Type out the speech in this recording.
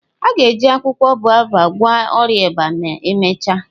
A ga-eji akwụkwọ baobab gwọọ ọrịa ịba ma emechaa.